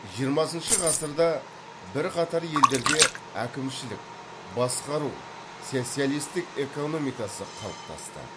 жиырмасыншы ғасырда бірқатар елдерде әкімшілік басқару социалистік экономикасы қалыптасты